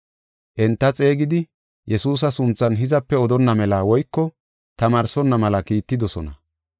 Enta xeegidi, Yesuusa sunthan hizape odonna mela woyko tamaarsonna mela kiittidosona.